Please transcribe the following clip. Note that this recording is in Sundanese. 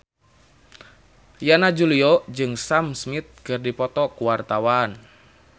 Yana Julio jeung Sam Smith keur dipoto ku wartawan